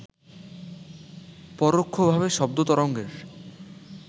পরোক্ষভাবে শব্দ তরঙ্গের